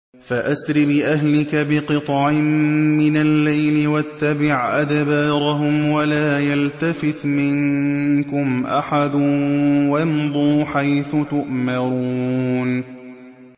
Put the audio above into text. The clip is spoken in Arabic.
فَأَسْرِ بِأَهْلِكَ بِقِطْعٍ مِّنَ اللَّيْلِ وَاتَّبِعْ أَدْبَارَهُمْ وَلَا يَلْتَفِتْ مِنكُمْ أَحَدٌ وَامْضُوا حَيْثُ تُؤْمَرُونَ